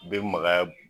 Bɛ magaya